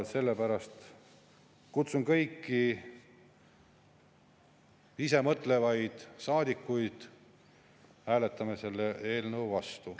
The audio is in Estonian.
Sellepärast kutsun kõiki ise mõtlevaid saadikuid hääletama selle eelnõu vastu.